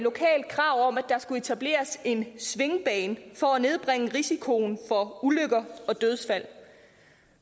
og der skulle etableres en svingbane for at nedbringe risikoen for ulykker og dødsfald